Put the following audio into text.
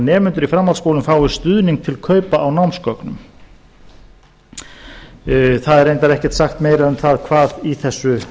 nemendur í framhaldsskólum fái stuðning til kaupa á námsgögnum það er reyndar ekkert sagt meira um það hvað í þessu